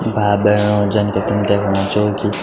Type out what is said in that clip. भाई बहणों जन की तुम दयेखणा छौ कि --